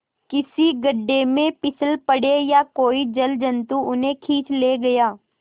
किसी गढ़े में फिसल पड़े या कोई जलजंतु उन्हें खींच ले गया